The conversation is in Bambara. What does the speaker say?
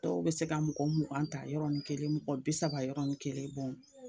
Dɔw bɛ se ka mɔgɔ mugan ta yɔrɔni kelen, mɔgɔ bi saba yɔrɔni kelen